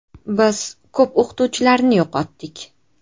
Biz ko‘p o‘qituvchilarni yo‘qotdik.